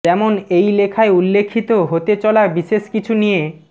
যেমন এই লেখায় উল্লেখিত হতে চলা বিশেষ কিছু নিয়